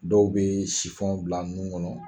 Dɔw bɛ bila nun kɔnɔ